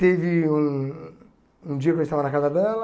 Teve um um dia que eu estava na casa dela,